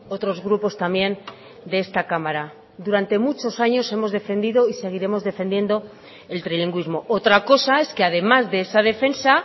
otros grupos también de esta cámara durante muchos años hemos defendido y seguiremos defendiendo el trilingüismo otra cosa es que además de esa defensa